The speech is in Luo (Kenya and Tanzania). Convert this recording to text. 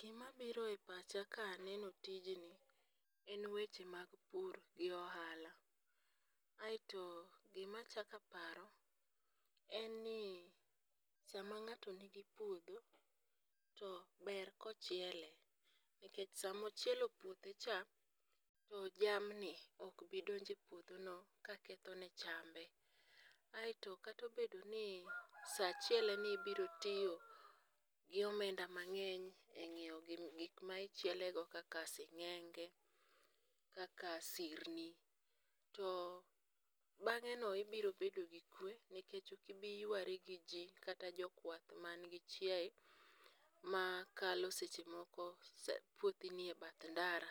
Gimabiro e pacha kaneno tijni en weche mag pur gi ohala, aeto gimachako aparo en ni sama ng'ato nigi puodho, to ber kochiele, nikech samo chielo puothecha, to jamni ok bidonjo e puodhono kakethone chambe, aeto kata obedoni sa chieleni ibiro tiyo gi omenda mang'eny e nyiewo gik ma ichjielego kaka sing'enge, kaka sirni, to bang'eno ibiro bedo gi kuwe, nikech ok ibi ywarigi ji kata jokwath manigi chiaye makalo seche moko puothi ni e bath ndara,